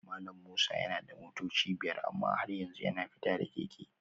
Malam Musa yana da motoci biyar amma har yanzu yana fita da keke